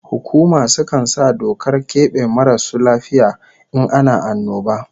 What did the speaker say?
Hukuma sukan sa dokar kebe marasu lafiya in ana annoba